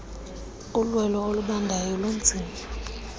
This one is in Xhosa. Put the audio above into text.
ulwelo olubandayo lunzima